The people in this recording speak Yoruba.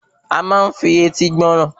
A máa ń fi etí gbọ́ràn